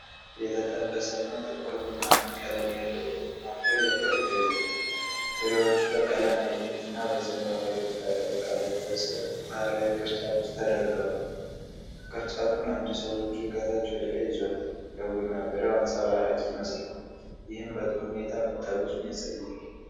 የተጠበሰና ጥቁር ቡናማ ቀለም ያለው የቡና ፍሬ በቅርብ ተይዟል። ፍሬዎቹ በቀለም ያጌጠና በዘንባባ የተቀለበሰ ባህላዊ ቅርጫት ውስጥ ተደርገዋል። ቅርጫቱን አንድ ሰው በእጁ ከታች ወደ ላይ ይዞታል። የቡና ፍሬው አንጸባራቂ ይመስላል፤ ይህም በጥሩ ሁኔታ መጠበሱን ያሳያል።